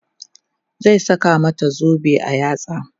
zai saka mata zobe a yatsa